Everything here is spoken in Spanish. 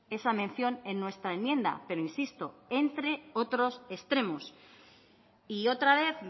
esa mención en nuestra enmienda pero insisto entre otros extremos y otra vez